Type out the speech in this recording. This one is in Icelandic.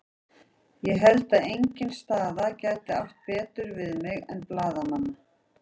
Ég held að engin staða gæti átt betur við mig en blaðamannanna.